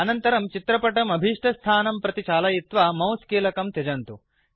अनन्तरं चित्रपटम् अभीष्टस्थानं प्रति चालयित्वा मौस् कीलकं त्यजन्तु